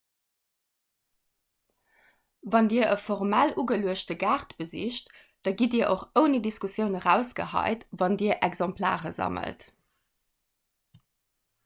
wann dir e formell ugeluechte gaart besicht da gitt dir och ouni diskussioun erausgehäit wann dir exemplare sammelt